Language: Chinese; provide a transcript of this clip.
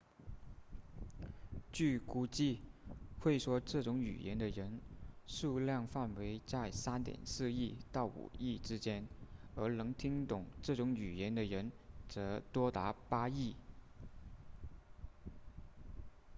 据估计会说这种语言的人数量范围在 3.4 亿到5亿之间而能听懂这种语言的人则多达8亿